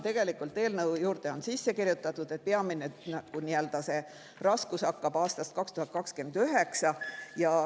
Tegelikult on eelnõu sisse kirjutatud, et peamine raskus hakkab aastast 2029.